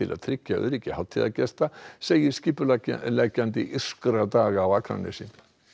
að tryggja öryggi hátíðargesta segir skipuleggjandi írskra daga á Akranesi